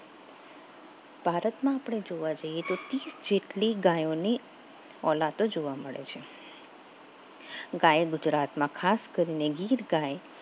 ભારતમાં આપણે જોવા જઈએ તો ત્રીસ જેટલી ગાયોની ઓલા તો જોવા મળે છે ગાય ગુજરાતમાં ખાસ કરીને ગીર ગાય